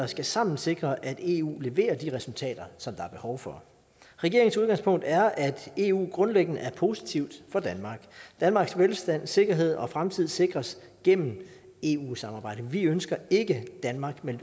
tilsammen sikre at eu leverer de resultater som der er behov for regeringens udgangspunkt er at eu grundlæggende er positivt for danmark danmarks velstand sikkerhed og fremtid sikres gennem eu samarbejdet vi ønsker ikke at danmark melder